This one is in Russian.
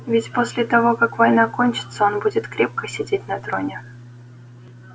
ведь после того как война кончится он будет крепко сидеть на троне